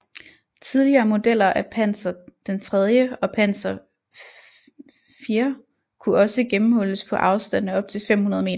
Tidligere modeller af Panzer III og Panzer IV kunne også gennemhulles på afstande op til 500 m